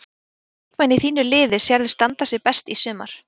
Hvaða leikmenn í þínu liði sérðu standa sig best í sumar?